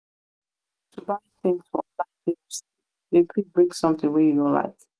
to buy tins for online dey risky dem fit bring sometin wey you no like.